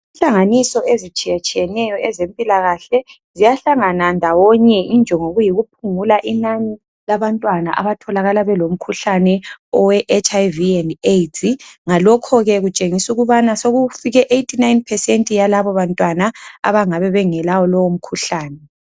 Inhlanganiso ezitshiyatshiyeneyo ezempilakahle ziyahlangana ndawonye ngokuyikuphungula inani labantwana abatholakala belomkhuhlane we HIV and AIDS ngalokho ke kutshengisa ukubana sokufike ke 89% yalabo bantwana abangabe bengelawo lowo mkhuhlane.